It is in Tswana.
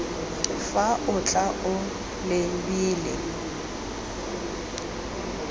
fa o tla o lebile